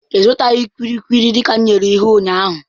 Ị zụtaghị kulikuli dịka m nyere iwu ụnyaahụ.